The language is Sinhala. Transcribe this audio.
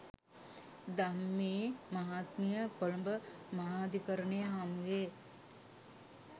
ධම්මි මහත්මිය කොළඹ මහාධිකරණය හමුවේ